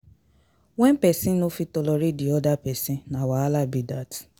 When persin no fit tolerate di other persin na wahala be that